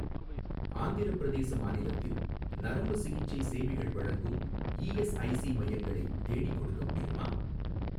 ஆந்திரப் பிரதேச மாநிலத்தில் நரம்புச் சிகிச்சை சேவைகள் வழங்கும் இஎஸ்ஐசி மையங்களை தேடிக்கொடுக்க முடியுமா?